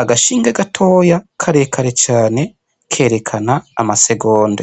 agashinge gatoya karekare cane kerekana amasegonda.